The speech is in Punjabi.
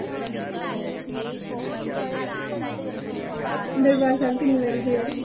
ਦਰਬਾਰ ਸਾਹਿਬ ਕਿੰਨੇ ਵਾਰੀ ਗਏ ਓ?